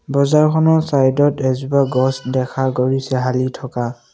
বজাৰখন চাইড ত এজোপা গছ দেখা গৈছে হালি থকা।